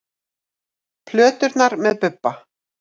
Plöturnar með Bubba